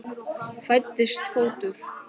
Fæddist fótur.